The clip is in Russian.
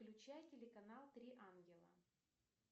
включай телеканал три ангела